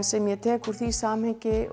sem ég tek úr því samhengi